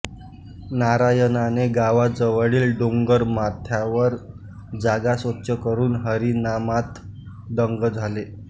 नारायणाने गावाजवळील डोंगरमाथ्यावर जागा स्वच्छ करून हरिनामात दंग झाले